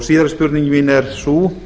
síðari spurning mín er sú